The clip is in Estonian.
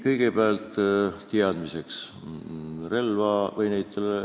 Kõigepealt teadmiseks.